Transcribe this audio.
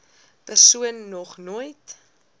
persoon nog nooit